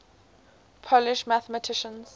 polish mathematicians